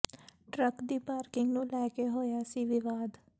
truck ਦੀ parking ਨੂੰ ਲੈ ਕੇ ਹੋਇਆ ਸੀ ਵਿਵਾਦ